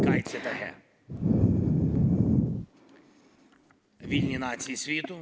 "Kaitsetahe!